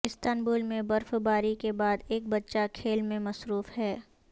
Istanbul میں برف باری کے بعد ایک بچہ کھیل میں مصروف ہے